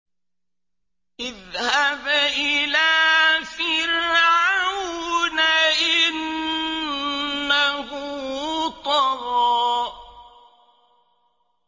اذْهَبْ إِلَىٰ فِرْعَوْنَ إِنَّهُ طَغَىٰ